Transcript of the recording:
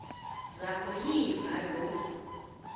zaku yiva loo